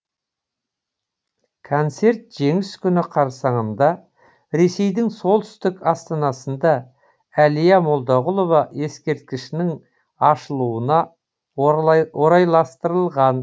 концерт жеңіс күні қарсаңында ресейдің солтүстік астанасында әлия молдағұлова ескерткішінің ашылуына орайластырылған